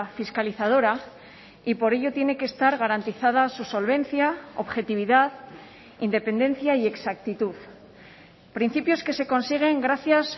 fiscalizadora y por ello tiene que estar garantizada su solvencia objetividad independencia y exactitud principios que se consiguen gracias